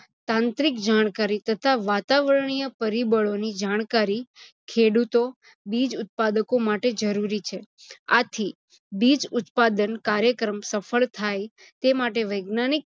તાંત્રિક જાણકારી તથા વાતાવરણીય પરીબળોની જાણકારી ખેડુતો, બીજ ઉત્પાદકો માટે જરુુરી છે. આથી બીજ ઉત્પાદન કાયૅક્રમ સફળ થાય તે માટે વૈજ્ઞાનીક